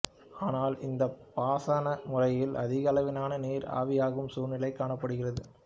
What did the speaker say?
ஆனால் இந்தப் பாசன முறையில் அதிகளவிலான நீர் ஆவியாகும் சூழ்நிலை காணப்படுகிறது